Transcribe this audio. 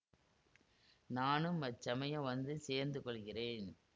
நானும் அச்சமயம் வந்து சேர்ந்து கொள்கிறேன்